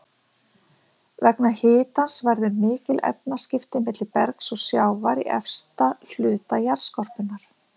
Vegna hitans verða mikil efnaskipti milli bergs og sjávar í efsta hluta jarðskorpunnar.